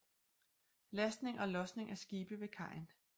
Lastning og lodsning af skibe ved kajen